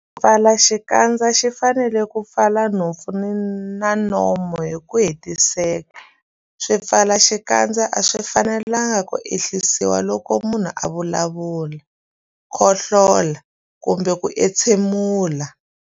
Xipfalaxikandza xi fanele ku pfala nhompfu na nomo hi ku hetiseka. Swipfalaxikandza a swi fanelanga ku ehlisiwa loko munhu a vulavula, khohlola kumbe ku entshemula.